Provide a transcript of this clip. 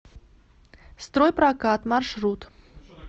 стройпрокат маршрут